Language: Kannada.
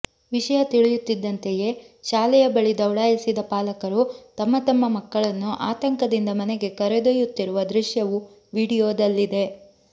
ವಿಷಯ ತಿಳಿಯುತ್ತಿದ್ದಂತೆಯೇ ಶಾಲೆಯ ಬಳಿ ದೌಡಾಯಿಸಿದ ಪಾಲಕರು ತಮ್ಮ ತಮ್ಮ ಮಕ್ಕಳನ್ನು ಆತಂಕದಿಂದ ಮನೆಗೆ ಕರೆದೊಯ್ಯುತ್ತಿರುವ ದೃಶ್ಯವೂ ವಿಡಿಯೋದಲ್ಲಿದೆ